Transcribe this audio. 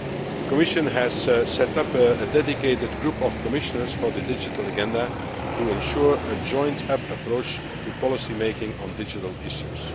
The Commission has set up a dedicated group of Commissioners for the digital agenda to ensure a joined up approach to policy making on digital issues.